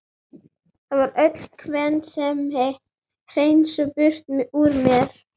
Það var öll kvensemi hreinsuð burt úr mér.